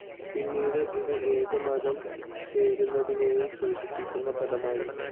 പിന്നീട് ഇത് ഏത് മതം ചേരുന്നതിനേയും സൂചിപ്പിക്കുന്ന പദമായി.